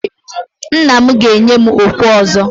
Nna m ga-enye m okwe ọzọ.